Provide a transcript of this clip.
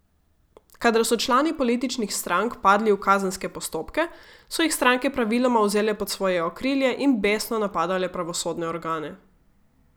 Kadar so člani političnih strank padli v kazenske postopke, so jih stranke praviloma vzele pod svoje okrilje in besno napadale pravosodne organe.